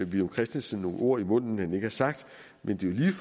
villum christensen nogle ord i munden han ikke har sagt men det